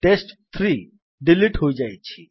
ଟେଷ୍ଟ3 delete ହୋଇଯାଇଛି